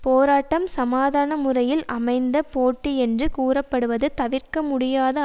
போராட்டம் சமாதான முறையில் அமைந்த போட்டி என்று கூறப்படுவது தவிர்க்க முடியாத